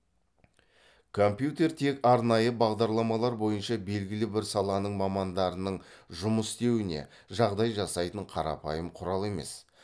компьютер тек арнайы бағдарламалар бойынша белгілі бір саланың мамандарының жұмыс істеуіне жағдай жасайтын қарапайым құрал емес